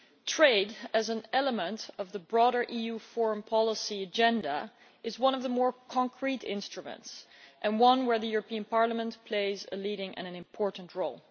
Trade, as an element of the broader EU foreign policy agenda, is one of the more concrete instruments and one where Parliament plays a leading and important role.